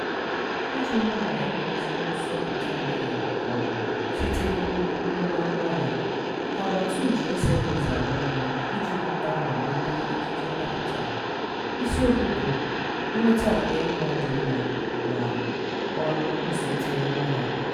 Iji hụ na e nwere ezigbo nsọpụta nke mgbọrọgwụ site n' ugbo ruo n' ngwaahịa, CAVA2 ji SMEs arụ ọrụ iji mụbaa ma mepee ikike mmeputa; isiokwu bụ nnweta nke ngwá dị mma na ọrụ nsote ọnụahịa.